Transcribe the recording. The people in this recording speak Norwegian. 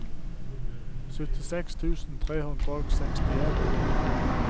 syttiseks tusen tre hundre og sekstien